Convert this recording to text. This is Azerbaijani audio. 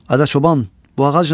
Adə çoban, bu ağac nədir?